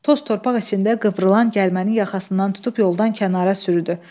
Toz torpaq içində qıvrılan gəlməni yaxasından tutub yoldan kənara sürüdü.